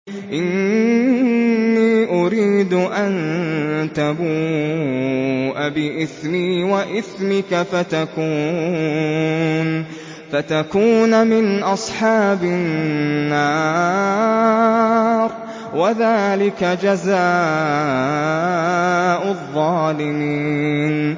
إِنِّي أُرِيدُ أَن تَبُوءَ بِإِثْمِي وَإِثْمِكَ فَتَكُونَ مِنْ أَصْحَابِ النَّارِ ۚ وَذَٰلِكَ جَزَاءُ الظَّالِمِينَ